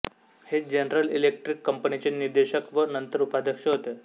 हे general electric कंपनीचे निदेशक व नंतर उपाध्यक्ष होते